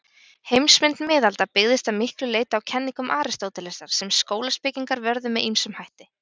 Heimsmynd miðalda byggðist að miklu leyti á kenningum Aristótelesar, sem skólaspekingar vörðu með ýmsum hætti.